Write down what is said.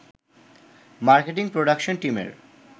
marketing production টিমের